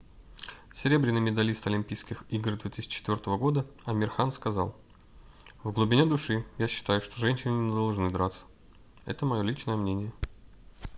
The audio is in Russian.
серебряный медалист олимпийских игр 2004 года амир хан сказал в глубине души я считаю что женщины не должны драться это мое личное мнение